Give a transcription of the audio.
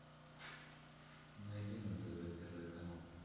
найди на тв первый канал